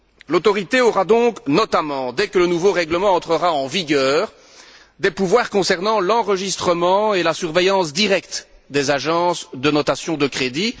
L'Autorité aura donc notamment, dès que le nouveau règlement entrera en vigueur, des pouvoirs concernant l'enregistrement et la surveillance directe des agences de notation de crédit.